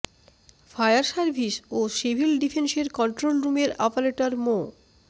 fire service ও civil ডিফেন্সের control রুমের অপারেটর মো